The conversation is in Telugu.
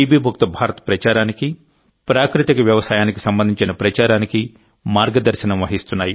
ముక్త భారత్ ప్రచారానికి ప్రాకృతిక వ్యవసాయానికి సంబంధించిన ప్రచారానికి మార్గదర్శనం వహిస్తున్నాయి